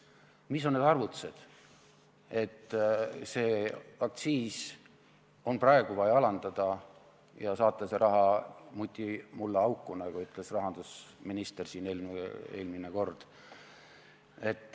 Millised on need arvutused, et aktsiise on praegu vaja alandada ja saata see raha mutimullaauku, nagu ütles rahandusminister siin eelmine kord.